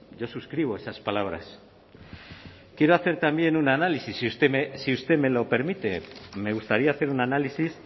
yo suscribo esas palabras quiero hacer también un análisis si usted me lo permite me gustaría hacer un análisis